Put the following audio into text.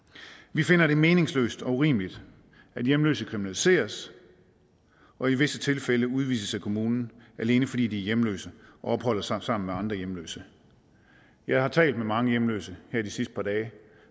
vi finder det meningsløst og urimeligt at hjemløse kriminaliseres og i visse tilfælde udvises af kommunen alene fordi de er hjemløse og opholder sig sammen med andre hjemløse jeg har talt med mange hjemløse her de sidste par dage